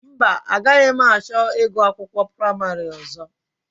Mba, agaghị m achọ ịgụ akwụkwọ praịmarị ọzọ